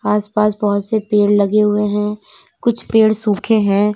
आसपास बहुत से पेड़ लगे हुए हैं कुछ पेड़ सुखे हैं।